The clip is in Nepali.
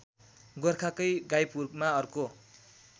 गोरखाकै गाईपुरमा अर्को